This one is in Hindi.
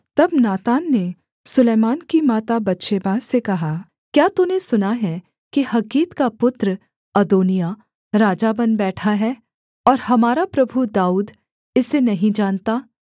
तब नातान ने सुलैमान की माता बतशेबा से कहा क्या तूने सुना है कि हग्गीत का पुत्र अदोनिय्याह राजा बन बैठा है और हमारा प्रभु दाऊद इसे नहीं जानता